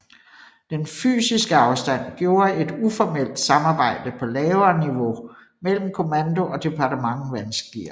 Den fysiske afstand gjorde et uformelt samarbejde på lavere niveau mellem kommando og Departement vanskeligere